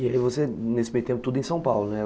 E você, nesse meio tempo, tudo em São Paulo, né?